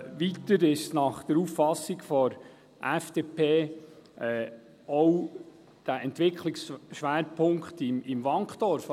Weiter ist nach Auffassung der FDP auch der Entwicklungsschwerpunkt (ESP) im Wankdorf …